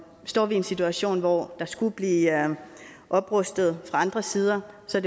står vi i en situation hvor der skulle blive oprustet fra andre sider så